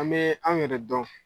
An bɛ an yɛrɛ dɔn